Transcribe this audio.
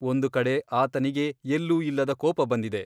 ಒಂದು ಕಡೆ ಆತನಿಗೆ ಎಲ್ಲೂ ಇಲ್ಲದ ಕೋಪ ಬಂದಿದೆ.